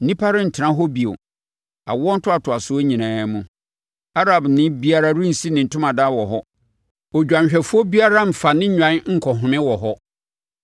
Nnipa rentena hɔ bio awoɔ ntoatoasoɔ nyinaa mu; Arabni biara rensi ne ntomadan wɔ hɔ; odwanhwɛfoɔ biara remfa ne nnwan nkɔ home wɔ hɔ.